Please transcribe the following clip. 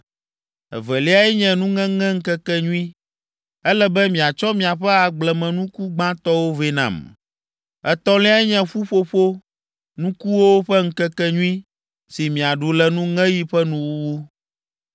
“Eveliae nye Nuŋeŋeŋkekenyui. Ele be miatsɔ miaƒe agblemenuku gbãtɔwo vɛ nam. “Etɔ̃liae nye Ƒuƒoƒo Nukuwo ƒe Ŋkekenyui si miaɖu le nuŋeɣi ƒe nuwuwu.